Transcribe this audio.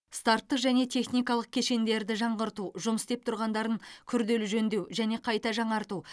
старттық және техникалық кешендерді жаңғырту жұмыс істеп тұрғандарын күрделі жөндеу және қайта жаңарту